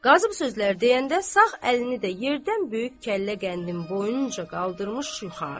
Qazı bu sözlər deyəndə sağ əlini də yerdən böyük kəllə qəndin boyunca qaldırmış yuxarı.